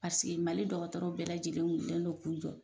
Paseke mali dɔgɔtɔrɔw bɛɛ lajɛlen wulilen dɔ kun jɔ